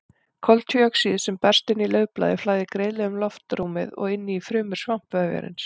Koltvíoxíð sem berst inn í laufblaði flæðir greiðlega um loftrúmið og inn í frumur svampvefjarins.